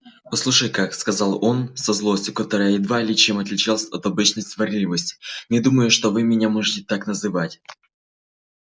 послушайте-ка сказал он со злостью которая едва ли чем отличалась от обычной сварливости не думаю что вы меня можете так называть